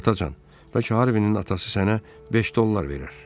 Atacan, bəlkə Harvinin atası sənə 5 dollar verər?